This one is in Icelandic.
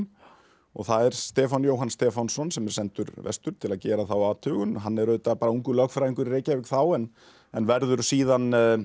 og það er Stefán Jóhann Stefánsson sem er sendur vestur til að gera þá athugun hann er auðvitað bara ungur lögfræðingur í Reykjavík þá en en verður síðan